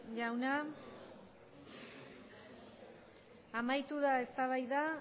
jauna amaitu da eztabaida